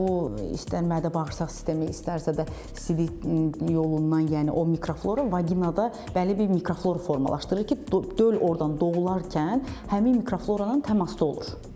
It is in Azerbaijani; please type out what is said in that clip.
Bu istər mədə-bağırsaq sistemi, istərsə də sidik yolundan, yəni o mikroflora vaginada bəlli bir mikroflora formalaşdırır ki, döl ordan doğularkən həmin mikroflora ilə təmasda olur.